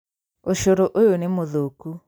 ũcũrũ ũyũ nĩmũthũku